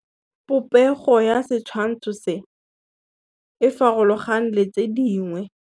Popêgo ya setshwantshô se, e farologane le tse dingwe.